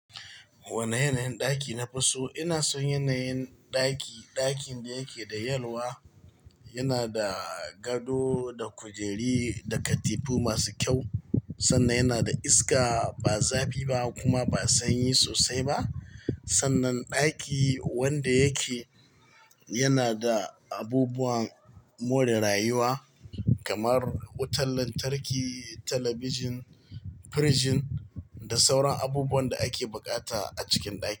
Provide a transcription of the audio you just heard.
Wane yanayin ɗaki na fi so? Ina son yanayin ɗaki, ɗakin da yake da yalwa, yana da gado da kujeri da katifu masu kyau sannan yana da iska ba zafi ba kuma ba sanyi sosai ba. Sannan ɗaki wanda yake yana da abubuwan more rayuwa kamar wutan lantarki, talabijin, firjin da sauran abubuwan da ake buƙata a cikin ɗaki.